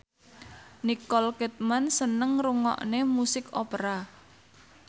Nicole Kidman seneng ngrungokne musik opera